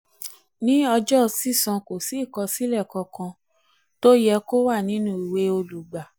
ní ọjọ́ sísan kò sí ìkọsílẹ̀ kankan tó yẹ kó wà nínú ìwé olùgbà.